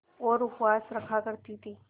और उपवास रखा करती थीं